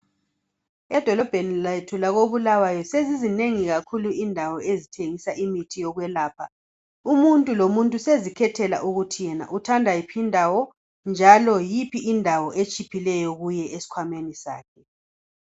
Edolobheni lethu lakobulawayo sezizinengi kakhulu indawo ezithengisa imithi yokwelapha . Umuntu lomuntu sezikhethela ukuthi yenaUthanda yiphi indawo njalo yiphi indawo etshiphileyo kuye esikhwameni sakhe .